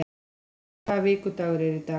Julia, hvaða vikudagur er í dag?